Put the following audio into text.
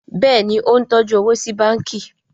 Béèni o ń tọjú owo sí bánkì.